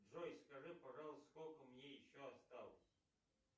джой скажи пожалуйста сколько мне еще осталось